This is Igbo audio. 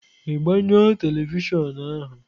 Ị gbanyụọ tevịshịon ahu?